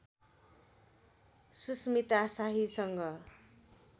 Susmita शाहीसँग